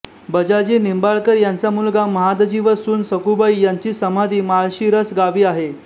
बजाजी निंबाळकर यांचा मुलगा महादजी व सून सखुबाई यांची समाधी माळशिरस गावी आहे